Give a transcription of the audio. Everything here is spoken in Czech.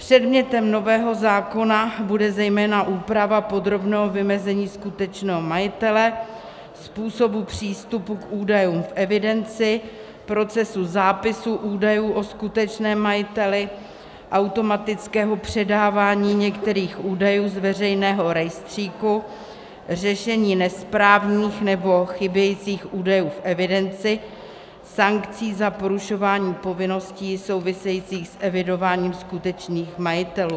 Předmětem nového zákonu bude zejména úprava podrobného vymezení skutečného majitele, způsobu přístupu k údajům v evidenci, procesu zápisu údajů o skutečném majiteli, automatického předávání některých údajů z veřejného rejstříku, řešení nesprávných nebo chybějících údajů v evidenci, sankcí za porušování povinností souvisejících s evidováním skutečných majitelů.